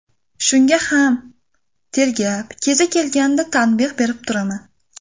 Shunga ham tergab, kezi kelganida tanbeh berib turaman.